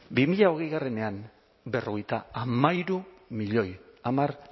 bi mila hogeiean berrogeita hamairu milioi hamar